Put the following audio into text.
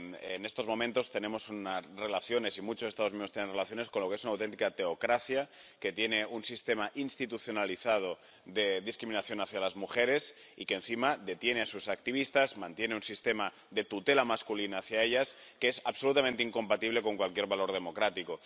En estos momentos tenemos relaciones, y muchos Estados miembros tienen relaciones con lo que es una auténtica teocracia, que tiene un sistema institucionalizado de discriminación hacia las mujeres y que, encima, detiene a sus activistas y mantiene un sistema de tutela masculina hacia ellas que es absolutamente incompatible con cualquier valor democrático.